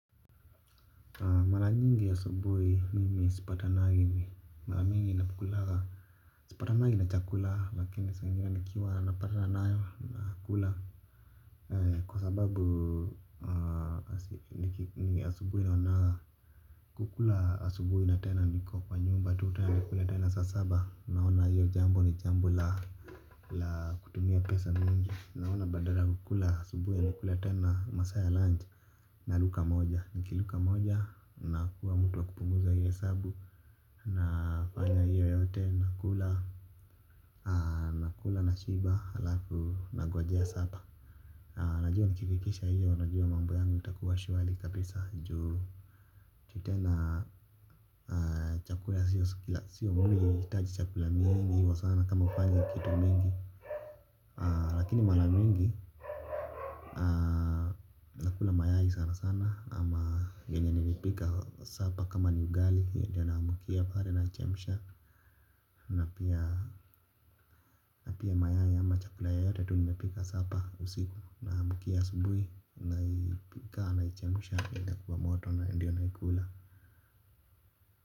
Mara nyingi asubuhi mimi sipatanangi mara mingi napokulaga sipatanangi na chakula lakini saa ingine nikiwa napatana nayo nakula kwa sababu ni asubuhi naonaga kukula asubuhi na tena niko kwa nyumba tu tena nakula tena saa saba naona hiyo jambo ni jambo la la kutumia pesa mingi naona badala ya kukula asubuhi na kula tena masaa ya lunch naruka moja. Nikiruka moja nakuwa mtu wa kupunguza hiyo hesabu. Nafanya hiyo yote nakula nashiba halafu nangojea sapa. Najua nikifikisha hiyo, najua mambo yangu itakuwa shwari kabisa. Juu, tena chakula sio mwili, haitaji chakula mingi kwa sana kama hufanyi kitu mingi. Lakini mara mingi nakula mayai sana sana ama yenye nilipika sapa kama ni ugali hiyo ndiyo naamkia pale nachemsha na pia mayai ama chakula yoyote tu nimepika sapa usiku naamkia asubuhi naipika naichemsha inakuwa moto na ndiyo naikula.